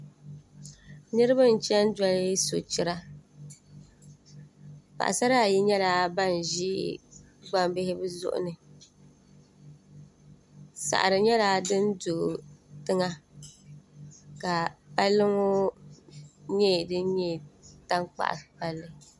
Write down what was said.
Niriba n-chani doli sochira paɣisara ayi nyɛla ban ʒi gbambihi bɛ zuɣu ni saɣiri nyɛla din do tiŋa ka palli ŋɔ nyɛ din nyɛ tankpaɣu palli